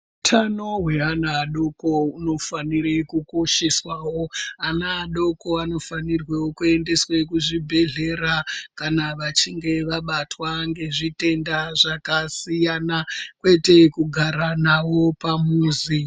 Utano hweana adoko hunofanire kukosheswawo. Ana adoko anofanirwewo kuendeswe kuzvibhedhlera kana vachinge vabatwa ngezvitenda zvakasiyana, kwete kugara navo pamuzi.